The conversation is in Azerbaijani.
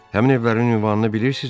Həmin evlərin ünvanını bilirsinizmi?